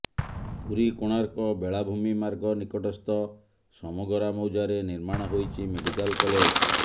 ପୁରୀ କୋଣାର୍କ ବେଳାଭୂମି ମାର୍ଗ ନିକଟସ୍ଥ ସମଗରା ମୌଜାରେ ନିର୍ମାଣ ହୋଇଛି ମେଡ଼ିକାଲ୍ କଲେଜ